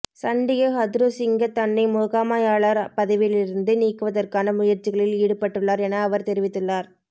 சண்டிக ஹதுருசிங்க தன்னை முகாமையாளர் பதவியிலிருந்து நீக்குவதற்கான முயற்சிகளில் ஈடுபட்டுள்ளார் என அவர் தெரிவித்துள்ளார்